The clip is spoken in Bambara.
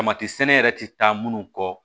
Tamati sɛnɛ yɛrɛ ti taa munnu kɔ